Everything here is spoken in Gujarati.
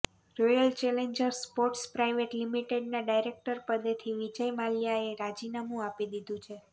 રોયલ ચેલેન્જર્સ સ્પોર્ટ્સ પ્રાઇવેટ લિમિટેડના ડાયરેક્ટરપદેથી વિજય માલ્યાએ રાજીનામું આપી દીધું છે